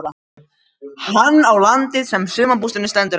Hann á landið sem sumarbústaðurinn stendur á.